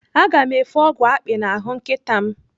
Aga m efe ọgwụ akpị n'ahụ nkịta m.